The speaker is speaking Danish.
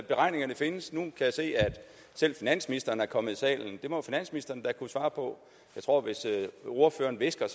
beregningerne findes nu kan jeg se at selv finansministeren er kommet i salen det må finansministeren da kunne svare på jeg tror at hvis ordføreren hvisker